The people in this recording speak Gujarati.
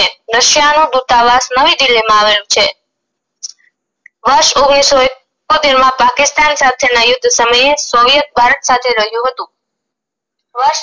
russia નો દુતાવાસ નવી દિલ્હી માં આવેલું છે વરસ ઓગણીસો એકોતેર માં પાકિસ્તાન સાથે ના યુદ્ધ સમયે soviet ભારત સાથે